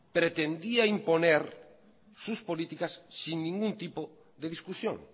pretendía imponer sus políticas sin ningún tipo de discusión